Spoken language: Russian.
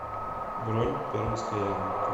бронь пермская ярмарка